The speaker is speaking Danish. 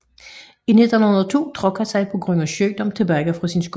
I 1902 trak han sig på grund af sygdom tilbage fra sin skole